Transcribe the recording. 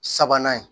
Sabanan ye